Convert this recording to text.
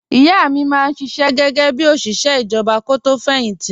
Ìyá mi máa ń ṣiṣẹ́ gẹ́gẹ́ bí òṣìṣẹ́ ìjọba kó tó fẹ̀yìn tì